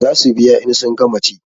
Za su biya in sun gama ci